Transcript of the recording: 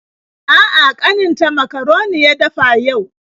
A'a, ƙaninta makaroni ya dafa yau.